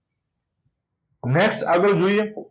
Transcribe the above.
next આગળ જોઈએ